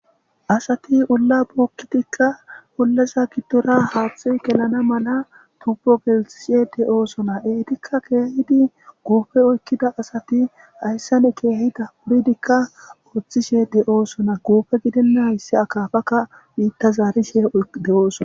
Asati ulla bokkitikka ullaza giddora haaxi gelana mala tubbo gelxishe de oosona eetikka keehidi guufe oykkida asati hayssane keehida puridikka ooththishe de oosona guufe gidinna hayssi akaafakka biitta zaarishe de7ooson.